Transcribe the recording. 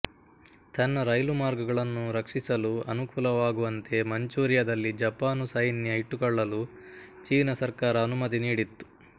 ತನ್ನ ರೈಲುಮಾರ್ಗಗಳನ್ನು ರಕ್ಷಿಸಲು ಅನುಕೂಲವಾಗುವಂತೆ ಮಂಚೂರಿಯದಲ್ಲಿ ಜಪಾನು ಸೈನ್ಯ ಇಟ್ಟುಕೊಳ್ಳಲು ಚೀನ ಸರ್ಕಾರ ಅನುಮತಿ ನೀಡಿತ್ತು